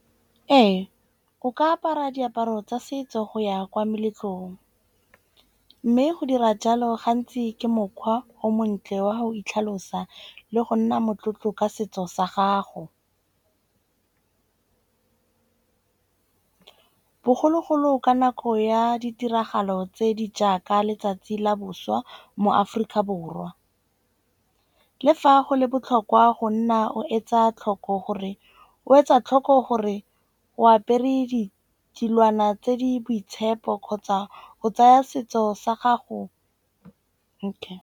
Ee, o ka apara diaparo tsa setso go ya kwa meletlong. Mme go dira jalo gantsi ke mokgwa o montle wa go itlhalosa le go nna motlotlo ka setso sa gago. Bogologolo ka nako ya ditiragalo tse di jaaka letsatsi la boswa moAforika Borwa. Le fa go le botlhokwa go nna o etsa tlhoko gore o etsa tlhoko gore o apere ditilwana tse di boitshepo kgotsa o tsaya setso sa gago, okay.